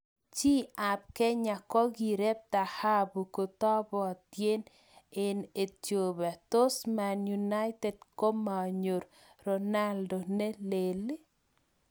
Chi ab Kenya kokirep tahabu ketobotien eng' Ethiopia 'Tos Man United komanyor 'Ronaldo ne lel'?